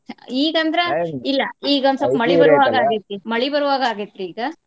ಈಗ ಅಂದ್ರ ಇಲ್ಲಾ ಈಗ ಒಂದ್ ಸ್ವಪ್ಪ ಮಳಿ ಬರೋಹಾಗ್ ಆಗೇತಿ ಮಳಿ ಬರೋ ಹಾಗ ಆಗೇತ್ರಿ ಈಗ.